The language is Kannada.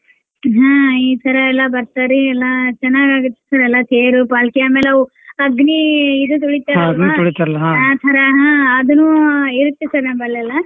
ಹಾ ಈ ಸರಾಯೆಲ್ಲ ಬರ್ತಾರಿ ಎಲ್ಲಾ ಚನ್ನಾಗ್ ಆಗುತ್ತ್ sir ಎಲ್ಲಾ ತೇರು पालकी ಆಮೇಲವೂ ಅಗ್ನಿ ಇದು ತುಳಿತಾರಲ್ಲ ಆ ತರಾ ಹಾ ಅದನೂ ಇರುತ್ತೆ sir ನಮ್ಮಲ್ಲೆಲ್ಲ.